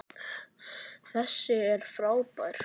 Þessi er frábær!